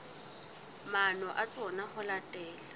maano a tsona ho latela